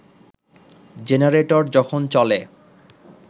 generator যখন চলে